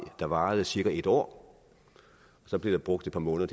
der varede i cirka et år og så blev der brugt et par måneder